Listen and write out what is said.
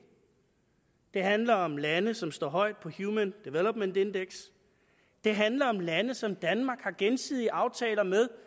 handler om lande som står højt på human development index det handler om lande som danmark har gensidige aftaler med